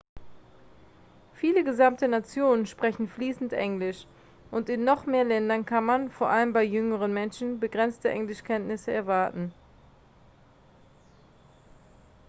viele gesamte nationen sprechen fließend englisch und in noch mehr ländern kann man vor allem bei jüngeren menschen begrenzte englischkenntnisse erwarten